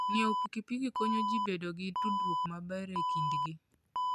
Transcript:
Ng'iewo pikipiki konyo ji bedo gi tudruok maber e kindgi.